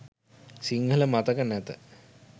සිංහල මතක නැත